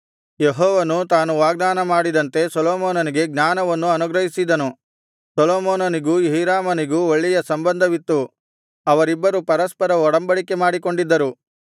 ಯೆಹೋವನು ತಾನು ವಾಗ್ದಾನ ಮಾಡಿದಂತೆ ಸೊಲೊಮೋನನಿಗೆ ಜ್ಞಾನವನ್ನು ಅನುಗ್ರಹಿಸಿದನು ಸೊಲೊಮೋನನಿಗೂ ಹೀರಾಮನಿಗೂ ಒಳ್ಳೆಯ ಸಂಬಂಧವಿತ್ತು ಅವರಿಬ್ಬರು ಪರಸ್ಪರವಾಗಿ ಒಡಂಬಡಿಕೆ ಮಾಡಿಕೊಂಡಿದ್ದರು